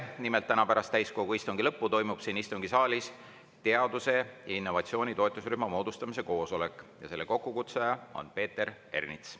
Nimelt, täna pärast täiskogu istungi lõppu toimub siin istungisaalis teaduse ja innovatsiooni toetusrühma moodustamise koosolek, selle kokkukutsuja on Peeter Ernits.